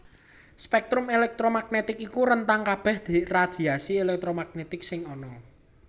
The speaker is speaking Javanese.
Spektrum elektromagnetik iku rentang kabèh radhiasi elektromagnetik sing ana